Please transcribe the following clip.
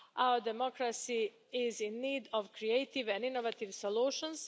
Our democracy is in need of creative and innovative solutions.